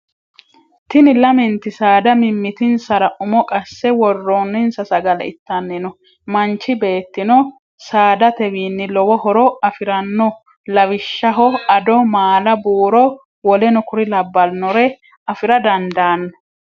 Tini lament saada mimmitinsara umo qasse worroninsa sagale ittanni no.manchi beettino saadatewinni lowo horo afiranno lawishshaho ado, maala, buuro w.k.l. afira dandaanno.